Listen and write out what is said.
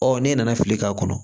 Ɔ ne nana fili k'a kɔnɔ